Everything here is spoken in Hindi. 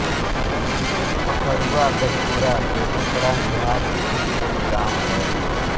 खखरुआ गढपुरा बेगूसराय बिहार स्थित एक गाँव है